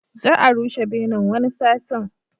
Za a rushe benen, wani satin.